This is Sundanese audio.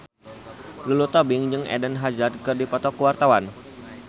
Lulu Tobing jeung Eden Hazard keur dipoto ku wartawan